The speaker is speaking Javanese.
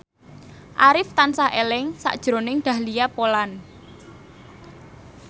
Arif tansah eling sakjroning Dahlia Poland